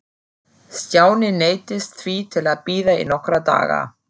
Stjáni neyddist því til að bíða í nokkra daga.